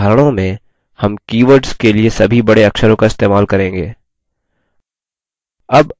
अपने उदाहरणों में हम keywords के लिए सभी बड़े अक्षरों का इस्तेमाल करेंगे